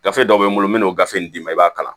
Gafe dɔw bɛ n bolo n bɛ n'o gafe in d'i ma i b'a kalan